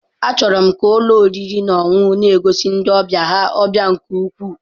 A chọrọ ka ụlọ oriri na ọṅụṅụ na-egosi ndị ọbịa ha ọbịa nke ukwuu.